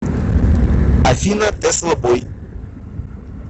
афина тесла бой